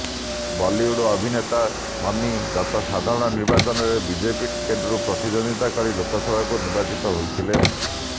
ବଲିଉଡ୍ ଅଭିନେତା ସନି ଗତ ସାଧାରଣ ନିର୍ବାଚନରେ ବିଜେପି ଟିକେଟରୁ ପ୍ରତିଦ୍ୱନ୍ଦ୍ୱୀତା କରି ଲୋକସଭାକୁ ନିର୍ବାଚିତ ହୋଇଥିଲେ